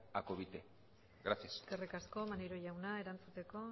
a covite gracias eskerrik asko maneiro jauna erantzuteko